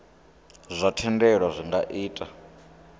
zwa thendelo zwi nga ita